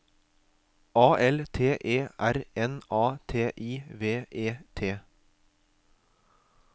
A L T E R N A T I V E T